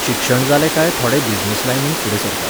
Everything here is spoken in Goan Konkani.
शिक्षण जालें काय थोडे बिजनॅस लायनींत फुडें सरतात.